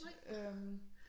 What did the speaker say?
Øh